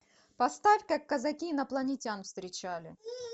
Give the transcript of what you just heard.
поставь как казаки инопланетян встречали